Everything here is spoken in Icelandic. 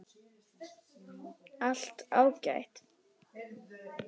Allt ágætt.